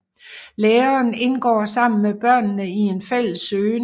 Læreren indgår sammen med børnene i en fælles søgen